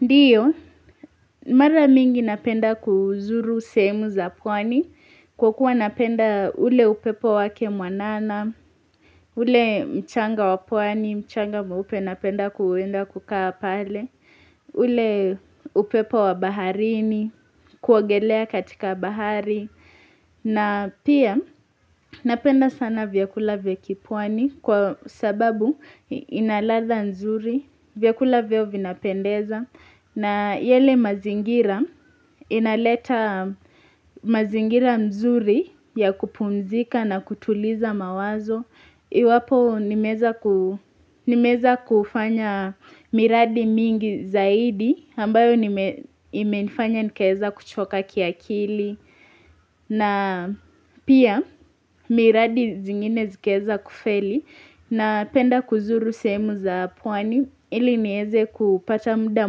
Ndiyo, mara mingi napenda kuzuru sehemu za pwani, kwa kuwa napenda ule upepo wake mwanana, ule mchanga wapwani, mchanga mweupe napenda kuwenda kukaa pale, ule upepo wabaharini, kuogelea katika bahari. Na pia napenda sana vyakula vya kipwani kwa sababu inaladha nzuri vyakula vyao vina pendeza na yale mazingira inaleta mazingira mzuri ya kupumzika na kutuliza mawazo. Iwapo nimeweza kufanya miradi mingi zaidi ambayo nime imenifanya nikaeza kuchoka kia kili na pia miradi zingine zikieza kufeli na penda kuzuru sehemu za pwani ili nieze kupata muda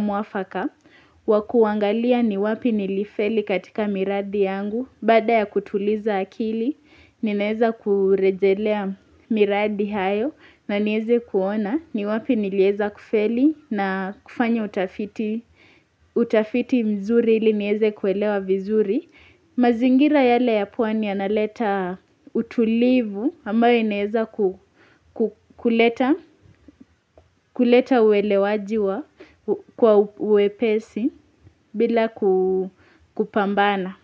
muafaka wakuangalia ni wapi nilifeli katika miradi yangu. Baada ya kutuliza akili, ninaeza kurejelea miradi hayo na nieze kuona ni wapi nilieza kufeli na kufanya utafiti mzuri ili nieze kuelewa vizuri. Mazingira yale ya pwani yanaleta utulivu ambayo inaeza kuleta uelewaji kwa uwepesi bila kupambana.